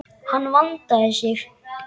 Hann vandaði sig.